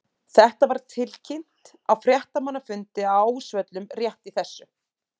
Þetta var tilkynnt á fréttamannafundi á Ásvöllum rétt í þessu.